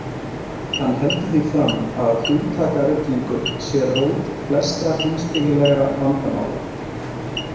Hann heldur því fram að hugtakaruglingur sé rót flestra heimspekilegra vandamála.